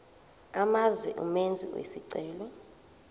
amazwe umenzi wesicelo